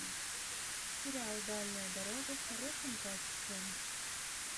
сериал дальняя дорога в хорошем качестве